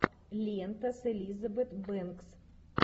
лента с элизабет бэнкс